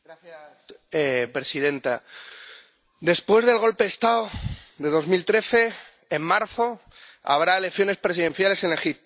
Señora presidenta, después del golpe de Estado de 2013, en marzo habrá elecciones presidenciales en Egipto